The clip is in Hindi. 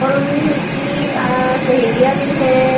और उनकी अ सहेलिया भी है।